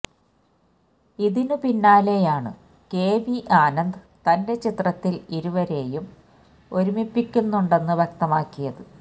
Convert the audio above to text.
ഇതിന് പിന്നാലെയായാണ് കെവി ആനന്ദ് തന്റെ ചിത്രത്തില് ഇരുവരേയും ഒരുമിപ്പിക്കുന്നുണ്ടെന്ന് വ്യക്തമാക്കിയത്